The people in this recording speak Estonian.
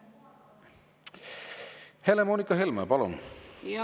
Helle-Moonika Helme, palun!